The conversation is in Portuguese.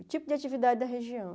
O tipo de atividade da região.